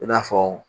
I n'a fɔ